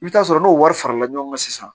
I bɛ taa sɔrɔ n'o wari farala ɲɔgɔn kan sisan